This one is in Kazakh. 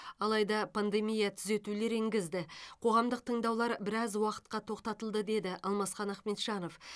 алайда пандемия түзетулер енгізді қоғамдық тыңдаулар біраз уақытқа тоқтатылды деді алмасхан ахмеджанов